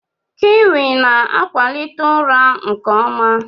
Kiwi na-akwalite ụra nke ọma.